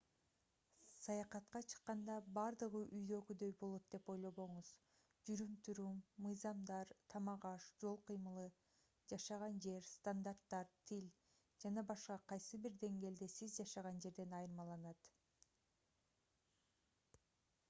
саякатка чыкканда бардыгы үйдөгүдөй болот деп ойлобоңуз жүрүм-турум мыйзамдар тамак-аш жол кыймылы жашаган жер стандарттар тил ж.б. кайсы бир деңгээлде сиз жашаган жерден айырмаланат